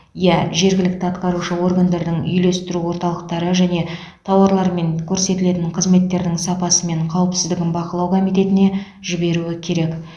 иә жергілікті атқарушы органдардың үйлестіру орталықтары және тауарлар мен көрсетілетін қызметтердің сапасы мен қауіпсіздігін бақылау комитетіне жіберуі керек